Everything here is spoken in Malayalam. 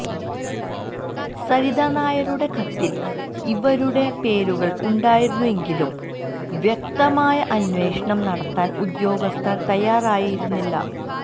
സരിത നായരുടെ കത്തില് ഇവരുടെ പേരുകള് ഉണ്ടായിരുന്നെങ്കിലും വ്യക്തമായ അന്വേഷണം നടത്താന് ഉദ്യോഗസ്ഥര് തയ്യാറായിരുന്നില്ല